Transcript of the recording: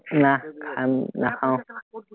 নাহ, খাম নাখাওঁ